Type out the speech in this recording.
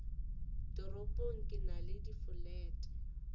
toropong ke na le difolete